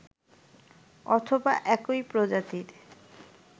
অথবা একই প্রজাতির